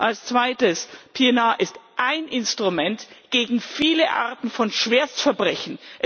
Als Zweites PNR ist ein Instrument gegen viele Arten von Schwerstverbrechen.